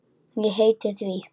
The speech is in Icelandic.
Ég heiti því.